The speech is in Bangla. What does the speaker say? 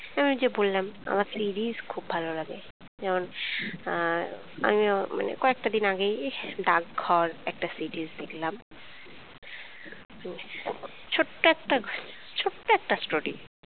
ওই যে বললাম আমার series খুব ভালো লাগে যেমন আহ আমি মানে কয়েকটা দিন আগে এই ডাকঘর একটা series দেখলাম। ছোট্ট একটা ছোট্ট একটা story